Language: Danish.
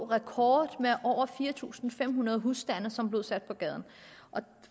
rekord med over fire tusind fem hundrede husstande som blev sat på gaden